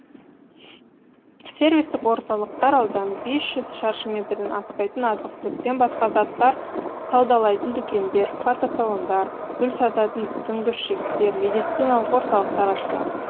сервистік орталықтар ауданы бес жүз шаршы метрден аспайтын азық түліктен басқа заттар саудалайтын дүкендер фотосалондар гүл сататын дүңгіршектер медициналық орталықтар ашылады